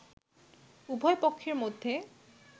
উভয় পক্ষের মধ্যে